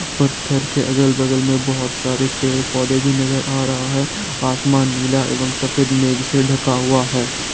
पत्थर के अगल-बगल में बहुत सारे पेड़ पौधे भी नजर आ रहा है आसमान नीला एवं सफेद मेघ से ढका हुआ है।